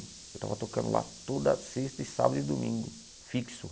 Eu estava tocando lá toda sexta e sábado e domingo, fixo.